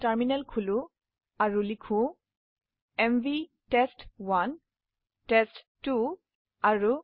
terminal খুলুন আৰু লিখক এমভি টেষ্ট1 টেষ্ট2